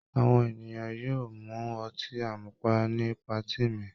Àwọn ènìyàn yóò mu ọtí àmupara ní patí mi.